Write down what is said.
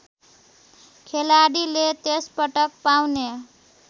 खेलाडीले त्यसपटक पाउने